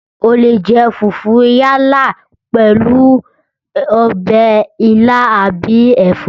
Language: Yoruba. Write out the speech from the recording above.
O leè jẹ fùfú yálà pèlú ọbẹ̀ ilá àbí ẹ̀fọ́